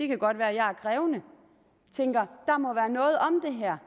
kan godt være at jeg er krævende tænker der må være noget om det her